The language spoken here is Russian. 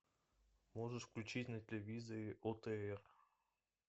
можешь включить на телевизоре отр